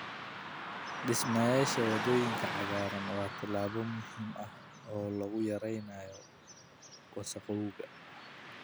Dhismeyaasha waddooyinka cagaaran waa tallaabo muhiim ah oo lagu yareynayo wasakhowga.